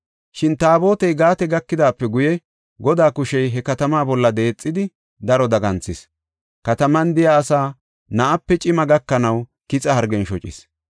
Shin Taabotey Gaate gakidaape guye, Godaa kushey he katamaa bolla deexidi, daro daganthis. Kataman de7iya asaa na7ape cima gakanaw kixa hargen shocis.